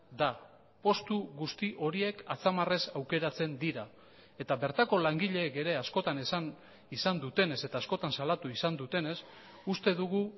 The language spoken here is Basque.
da postu guzti horiek atzamarrez aukeratzen dira eta bertako langileek ere askotan esan izan dutenez eta askotan salatu izan dutenez uste dugu